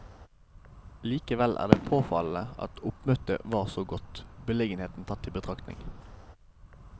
Likevel er det påfallende at oppmøtet var så godt, beliggenheten tatt i betraktning.